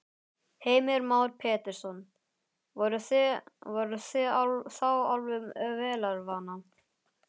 Heimir Már Pétursson: Voruð þið þá alveg vélarvana?